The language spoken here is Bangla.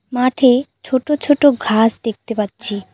মাঠে ছোটো ছোটো ঘাস দেখতে পাচ্ছি।